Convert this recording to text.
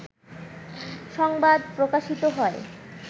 সংবাদ প্রকাশিত হয়